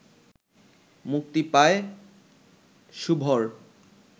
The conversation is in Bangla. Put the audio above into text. মুক্তি পায় শুভর